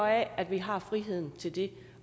af at vi har friheden til det